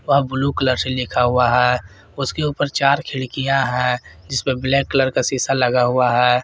वह blue colour से लिखा हुआ है उसके ऊपर चार खिड़कियां है जिस पर ब्लैक कलर का शीशा लगा हुआ है।